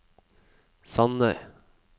Sandøy